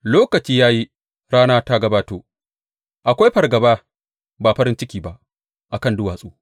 Lokaci ya yi, rana ta gabato; akwai fargaba, ba farin ciki ba, a kan duwatsu.